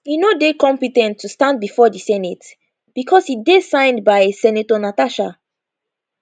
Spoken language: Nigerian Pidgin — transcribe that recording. e no dey compe ten t to stand bifor di senate becos e dey signed by senator natasha